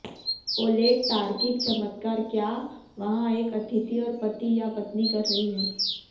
Oleg तार्किक चमत्कार क्या वहाँ एक अतिथि और पति या पत्नी कर रही है